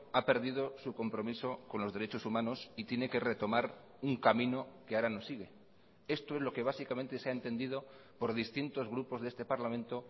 ha perdido su compromiso con los derechos humanos y tiene que retomar un camino que ahora no sigue esto es lo que básicamente se ha entendido por distintos grupos de este parlamento